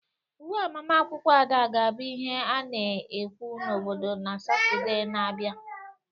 Uwe agbamakwụkwọ Ada ga-abụ ihe a na-ekwu n'obodo na Satọde na-abịa.